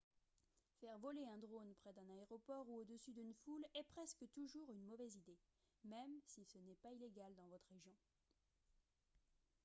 faire voler un drone près d'un aéroport ou au-dessus d'une foule est presque toujours une mauvaise idée même si ce n'est pas illégal dans votre région